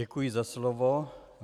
Děkuji za slovo.